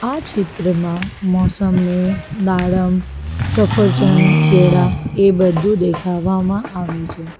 આ ચિત્રમાં મોસંબી દાડમ સફરજન કેળા એ બધું દેખાવામાં આવે છે.